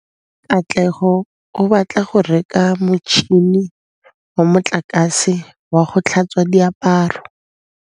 Katlego o batla go reka motšhine wa motlakase wa go tlhatswa diaparo.